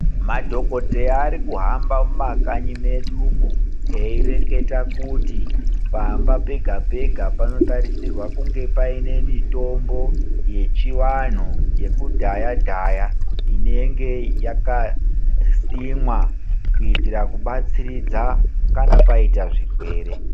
Madhokodheya arikuhamba mumakanyi medumwo eireketa kuti pamba pega pega panotarisirwe kunge paine mitombo yechivanhu yekudhaya dhaya inenge yakasimwa kuitira kubatsiridza kana paita zvirwere.